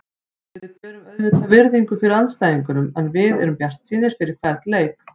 Við berum auðvitað virðingu fyrir andstæðingunum en við erum bjartsýnir fyrir hvern leik.